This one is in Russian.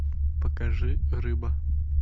покажи рыба